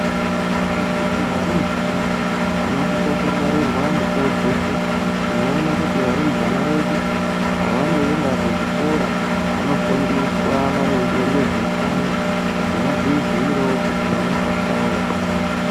Ngendaa yekuti varumbwana vanosisa kungwarirwa mukuwo dzeshe tinoona kuti varumbwana vedu pavanoenda kuzvikora vanofundiswa maringe nezveutano kuti vadziziirewo pona pachawo.